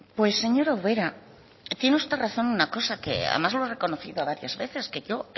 pues señora ubera tiene usted razón en una cosa que además lo he reconocido varias veces que yo